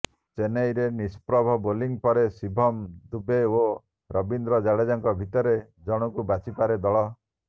ଚେନ୍ନାଇରେ ନିଷ୍ପ୍ରଭ ବୋଲିଂ ପରେ ଶିଭମ ଦୁବେ ଓ ରବୀନ୍ଦ୍ର ଜାଡ଼େଜାଙ୍କ ଭିତରୁ ଜଣଙ୍କୁ ବାଛିପାରେ ଦଳ